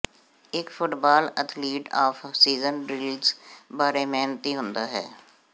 ਇੱਕ football athlete off season drills ਬਾਰੇ ਮਿਹਨਤੀ ਹੁੰਦਾ ਹੈ